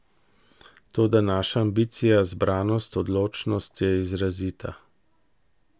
Toda naša ambicija, zbranost, odločnost je izrazita.